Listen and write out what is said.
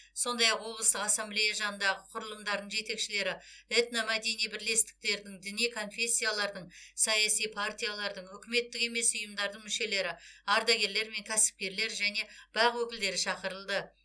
сондай ақ облыстық ассамблея жанындағы құрылымдардың жетекшілері этномәдени бірлестіктердің діни конфессиялардың саяси партиялардың үкіметтік емес ұйымдардың мүшелері ардагерлер мен кәсіпкерлер және бақ өкілдері шақырылды